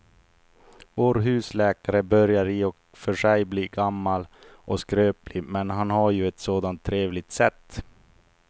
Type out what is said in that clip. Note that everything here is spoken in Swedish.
Vår husläkare börjar i och för sig bli gammal och skröplig, men han har ju ett sådant trevligt sätt!